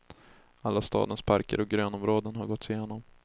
Alla stadens parker och grönområden har gåtts igenom.